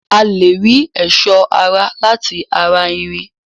A lè rí ẹ̀sọ́ ara láti ara irin